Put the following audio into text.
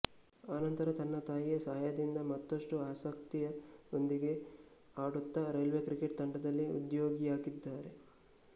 ಆ ನಂತರ ತನ್ನ ತಾಯಿಯ ಸಹಾಯದಿಂದ ಮತ್ತಷ್ಟು ಆಸಕ್ತಿಯ ಓಂದಿಗೆ ಆಡುತ್ತ ರೈಲ್ವೆ ಕ್ರಿಕೆಟ್ ತಂಡದಲ್ಲಿ ಉದ್ಯೋಗಿಯಾಗಿದ್ದಾರೆ